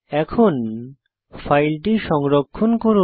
এখন ফাইলটি সংরক্ষণ করুন